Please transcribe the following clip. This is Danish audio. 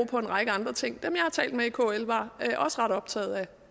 på en række andre ting dem jeg har talt med i kl var også ret optaget